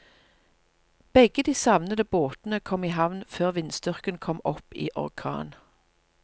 Begge de savnede båtene kom i havn før vindstyrken kom opp i orkan.